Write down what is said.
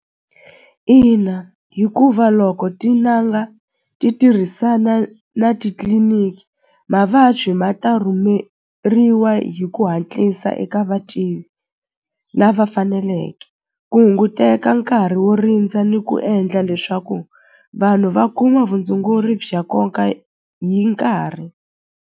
Ina hikuva loko tin'anga ti tirhisana na titliliniki mavabyi ma ta rhumeriwa hi ku hatlisa eka lava faneleke ku hunguteka nkarhi wo rindza ni ku endla leswaku vanhu va kuma vutshunguri bya nkoka hi nkarhi.